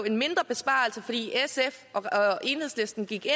en mindre besparelse fordi sf og enhedslisten gik